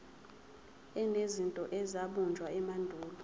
enezinto ezabunjwa emandulo